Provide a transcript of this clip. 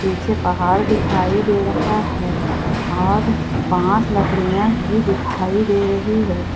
पीछे पहाड़ दिखाई दे रहा है और बांस लकड़ियां भी दिखाई दे रही है।